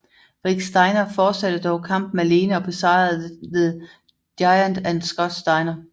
Rick Steiner fortsatte dog kampen alene og besejrede The Giant og Scott Steiner